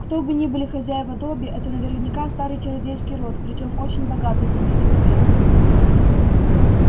кто бы ни были хозяева добби это наверняка старый чародейский род причём очень богатый заметил фред